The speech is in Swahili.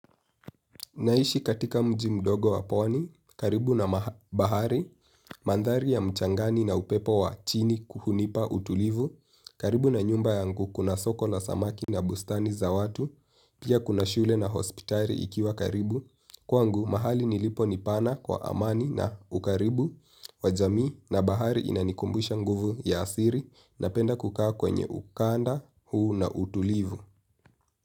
Naishi katika mji mdogo wapwani, karibu na bahari, mandhari ya mchangani na upepo wa chini hunipa utulivu, karibu na nyumba yangu kuna soko la samaki na bustani za watu, pia kuna shule na hospitali ikiwa karibu, kwangu mahali nilipo nipana kwa amani na ukaribu, wajamii na bahari inanikumbusha nguvu ya asili na penda kukaa kwenye ukanda huu na utulivu.